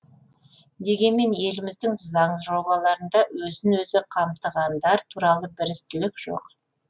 дегенмен еліміздің заң жобаларында өзін өзі қамтығандар туралы бірізділік жоқ